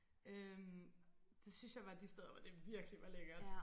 Øh det synes jeg var de steder hvor det virkelig var lækkert